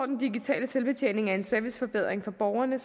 den digitale selvbetjening er en serviceforbedring for borgerne